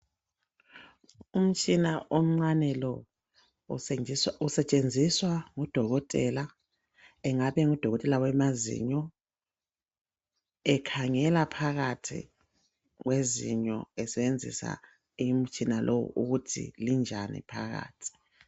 Umtshina omncane lo usetshenziswa ngu dokotela engabe engudokotela wamazinyo ekhangela phakathi kwezinyo esebenzisa umtshina lowu ukuthi linjani phakathi